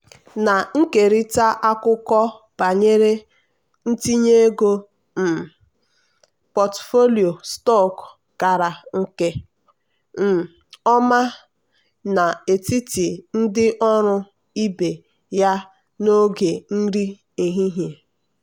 na-ekerịta akụkọ banyere ntinye ego um pọtụfoliyo stọkụ gara nke um ọma n'etiti ndị ọrụ ibe ya n'oge nri ehihie.